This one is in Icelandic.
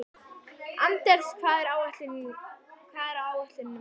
Anders, hvað er á áætluninni minni í dag?